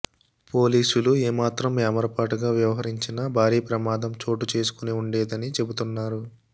పోలీసులు ఏమాత్రం ఏమరపాటుగా వ్యవహరించినా భారీ ప్రమాదం చోటుచేసుకుని ఉండేదని చెబుతున్నారు